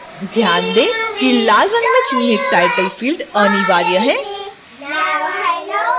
ध्यान दें कि: लाल रंग में चिह्नित title field अनिवार्य है